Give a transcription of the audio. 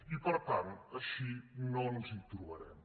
i per tant així no ens hi trobarem